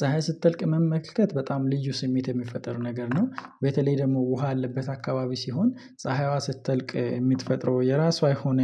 ፀሀይ ስትጠልቅ መመልከት በጣም ልዩ ስሜት የሚፈጥር ነገር ነው በተለይ ደግሞ ውሃ ያለበት አካባቢ ሲሆን ፀሀይዋ ስትጠልቅ የምትፈጥረው የራሷ የሆነ